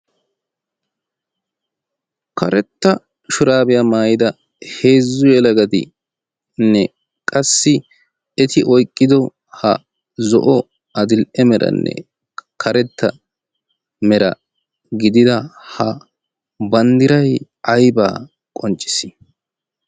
karetta shuraabiyaa maayida heezzu yeela gadiinne qassi eti oyqqido ha zo'o adil''e meranne karetta mera gidida ha banddiray aybaa qonccis